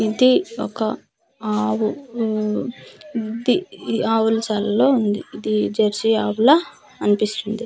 ఇది ఒక ఆవు వు ఇది ఆవుల శాలలో ఉంది ఇది జర్షి ఆవుల అనిపిస్తుంది .]